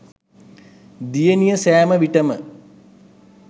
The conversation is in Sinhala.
දියණිය සැම විටම